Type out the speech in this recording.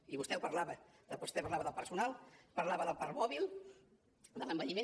i vostè en parlava vostè parlava del personal parlava del parc mòbil de l’envelliment